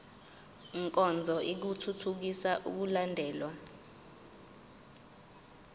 nkonzo ithuthukisa ukulandelwa